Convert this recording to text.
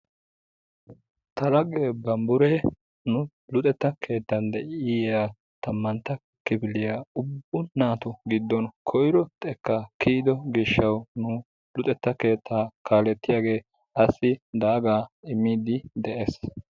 ta lagee bamburee nu luxxetta keettan de'iyaa tammantta kifiliya ubba natu giddon koyro xekkaa kiyido gishawu nu luxetta keettaaaa kalettiyagee asi daaga imiidi de'ees.